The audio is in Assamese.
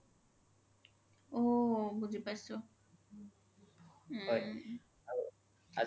ঔ বুজি পাইছো উম